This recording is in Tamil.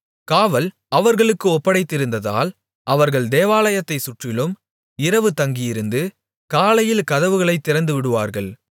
காவல் அவர்களுக்கு ஒப்படைத்திருந்ததால் அவர்கள் தேவாலயத்தைச் சுற்றிலும் இரவு தங்கியிருந்து காலையில் கதவுகளைத் திறந்துவிடுவார்கள்